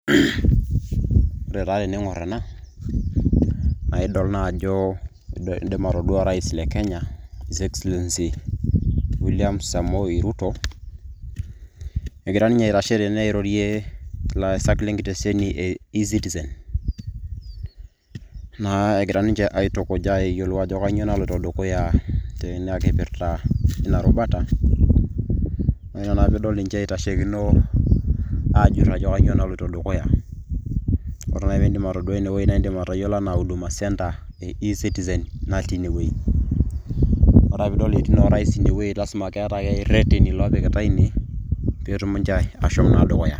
Ore taa tening'orr ena naa idol naa ajo indim atodua orais le Kenya His Excellency William Samoei Ruto, egira ninye aitashe tene airorie ilaasak lenkitesheni e Ecitizen, naa egira ninche aitukuja ayiolou ajo kainyoo naloito dukuya teina kipirta eina rubata, naa ina piidol ninche eitasheikino aajurr ajo kainyoo naloito dukuya. Ore naaji piindim atodua inewueji naa indim atayiolo anaa Huduma Centre e Citizen natii inewueji. Ore ake piidol etii naa orais inewueji lasima ake keeta rreteni loopikitai ine peetum ninche aashom naa dukuya.